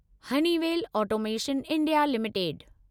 Honeywell automation India limited